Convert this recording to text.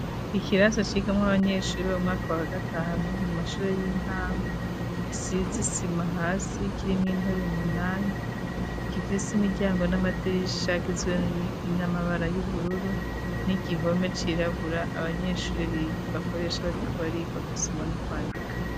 Ikirasa cigamwo 'abanyeshuri b'umwaka wa gatanu mu mashure y'intango gisizisima hasi kirimwe intebu munani gifise imiryango n'amadiriri shagizwe n'amabara y'ubururu n'igihome cirabura abanyeshuri ibakoresha barikubariga gusoma n'ukwandika.